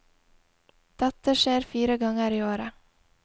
Dette skjer fire ganger i året.